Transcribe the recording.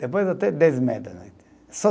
Depois até dez e meia da noite, só